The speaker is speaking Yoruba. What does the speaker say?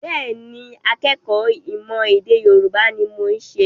Bẹ́ẹ̀ ni, akẹ́kọ̀ọ́ ìmọ̀-ẹ̀dèYorubá ni mo ṣe.